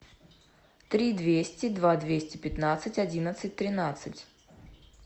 три двести два двести пятнадцать одиннадцать тринадцать